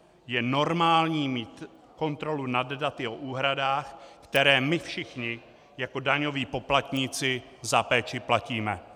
Je normální mít kontrolu nad daty o úhradách, které my všichni jako daňoví poplatníci za péči platíme.